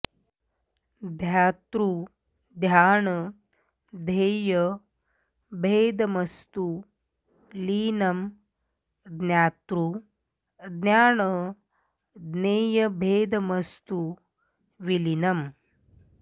ध्यातृ ध्यान ध्येय भेदमस्तु लीनं ज्ञातृ ज्ञान ज्ञेयभेदमस्तु विलीनम्